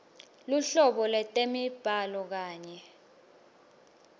luhlobo lwetemibhalo kanye